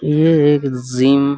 ये एक जिम --